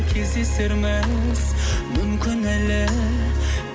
кездесерміз мүмкін әлі